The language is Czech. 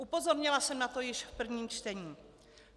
Upozornila jsem na to již v prvém čtení.